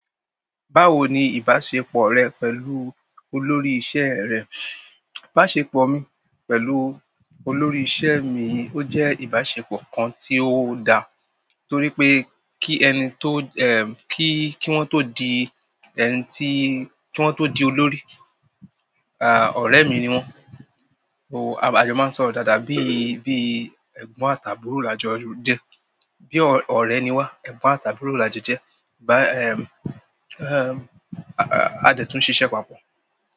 Báwo ni ìbáṣepọ̀ rẹ pẹ̀lú olórí iṣẹ́ ẹ̀ rẹ? Ìbáṣepọ̀ mi pẹ̀lú olórí iṣẹ́ mi ó jẹ́ ìbáṣepọ̀ kan tí ó da, torí pé kí ẹni tó, ẹm, kí, kí wọ́n tó di ẹni tí, kí wọ́n tó di olórí, a, ọ̀rẹ́ mi ni wọ́n. O, ajọ máa ń sọ ọ̀rọ̀ dáadáa bí i, bí i ẹ̀gbọ́n àtàbúrò lajọ jẹ́. Bí ọ̀rẹ́ ni wá, ẹ̀gbọ́n àtàbúrò lajọ jẹ́. Ẹm, a dẹ̀ tún ṣiṣẹ́ papọ̀.